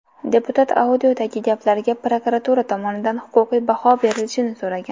Deputat audiodagi gaplarga prokuratura tomonidan huquqiy baho berilishini so‘ragan.